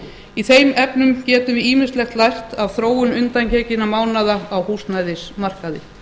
í þeim efnum getum við ýmislegt lært af þróun undangenginna mánaða á húsnæðismarkaði